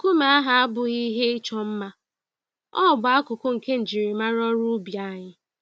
Nkume ahụ abụghị ihe ịchọ mma - ọ bụ akụkụ nke njirimara ọrụ ubi anyị.